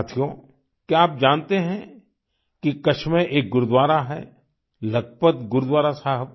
साथियो क्या आप जानते हैं कि कच्छ में एक गुरुद्वारा है लखपत गुरुद्वारा साहिब